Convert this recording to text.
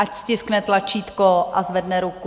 Ať stiskne tlačítko a zvedne ruku.